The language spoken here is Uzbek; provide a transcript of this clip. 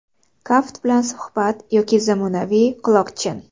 Kaft bilan suhbat yoki zamonaviy quloqchin.